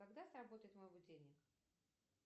когда сработает мой будильник